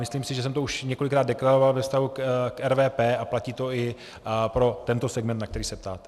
Myslím si, že jsem to už několikrát deklaroval ve vztahu k RVP, a platí to i pro tento segment, na který se ptáte.